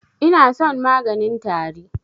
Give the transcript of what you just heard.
Inason maganin tari.